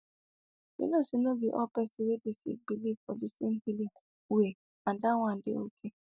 you know say no be all person wey dey sick believe for di same healing way and that one dey ok